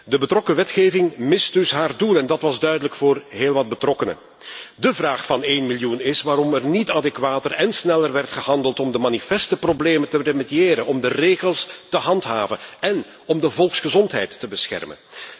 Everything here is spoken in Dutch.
De relevante wetgeving mist dus haar doel en dat was duidelijk voor heel wat betrokkenen. De vraag van één miljoen is waarom er niet adequater en sneller werd gehandeld om de manifeste problemen te remediëren, om de regels te handhaven en om de volksgezondheid te beschermen.